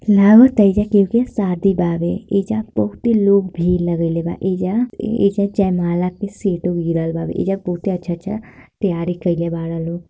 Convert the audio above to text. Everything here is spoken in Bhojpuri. यहाँ पे सादी बावे ऐजा बहुते लोग भीड़ लगईलेवा ऐजा ऐजा जयमाला के सीट लगलवा ऐजा बहुत ही अच्छा अच्छा तैयारी करल बाड़ा लोग।